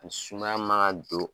N sumaya man ka don